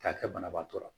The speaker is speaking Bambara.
K'a kɛ banabaatɔ la